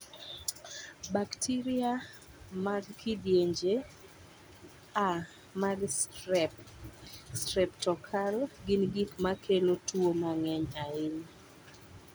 Bakteria mag kindieny A mag strep (streptokokal) gin gik ma kelo tuo mang�eny ahinya.